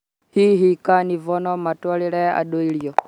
Hihi carnivore no matwarĩre andũ irio